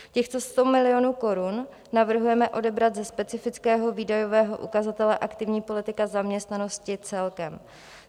Těchto 100 milionů korun navrhujeme odebrat ze specifického výdajového ukazatele Aktivní politika zaměstnanosti celkem.